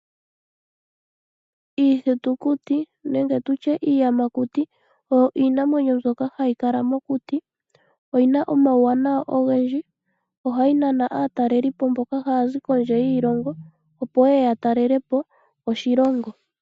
Iithitukuti nenge iiyamakuti oyo iinamwenyo mbyoka hayi kala mokuti, oyi na omauwanawa ogendji. Ohayi nana aatalelipo mboka haya zi kondje yoshilongo, opo ya talele po oshilongo.